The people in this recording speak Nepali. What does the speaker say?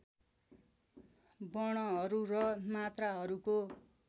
वर्णहरू र मात्राहरूको